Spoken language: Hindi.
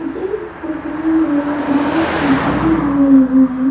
इस तस्वीर में एक बड़ा सा ग्राउंड दिखाई दे रही है।